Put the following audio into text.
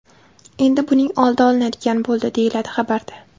Endi buning oldi olinadigan bo‘ldi”, deyiladi xabarda.